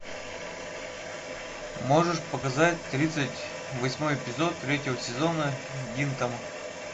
можешь показать тридцать восьмой эпизод третьего сезона гинтама